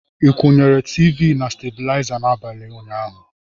Ị kwụnyere televishọn na stablizer n'abalị ụnyaahụ?